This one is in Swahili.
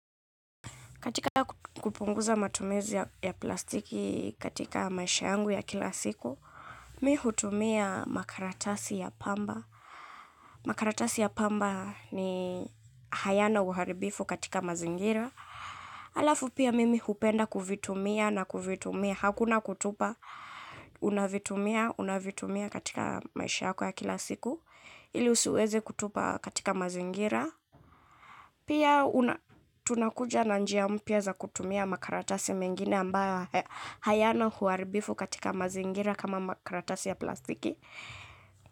Katika kupunguza matumizi ya plastiki katika maisha yangu ya kila siku, mimi hutumia makaratasi ya pamba. Makaratasi ya pamba hayana uharibifu katika mazingira. Alafu pia mimi hupenda kuvitumia na kuvitumia. Hakuna kutupa, unavitumia, unavitumia katika maisha yako ya kila siku. Ili usiweze kutupa katika mazingira. Pia tunakuja na njia mpya za kutumia makaratasi mengine ambayo hayana uharibifu katika mazingira kama makaratasi ya plastiki.